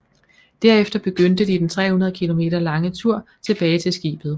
Derefter begyndte de den 300 km lange tur tilbage til skibet